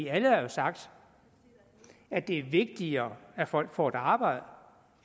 alle har jo sagt at det er vigtigere at folk får et arbejde